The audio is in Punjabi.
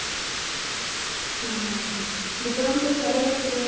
ਹਮ ਹਮ ਹਮ ਬੂਕਰਮ ਤੇ ਵੀ ਵਧੀਆਂ ਲੱਗਦੇ ਐ